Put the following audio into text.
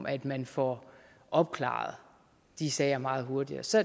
at man får opklaret de sager meget hurtigere så